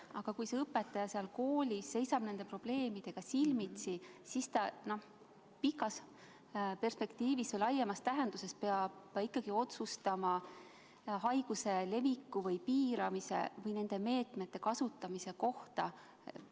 Aga kui direktor seal koolis seisab nende probleemidega silmitsi, siis ta pikas perspektiivis või laiemas tähenduses peab ikkagi otsustama haiguse leviku või selle piiramise või nende meetmete kasutamise kohta.